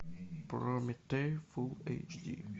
прометей фул эйч ди